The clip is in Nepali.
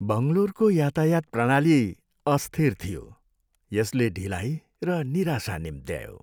बङ्गलोरको यातायात प्रणाली अस्थिर थियो, यसले ढिलाइ र निराशा निम्त्यायो।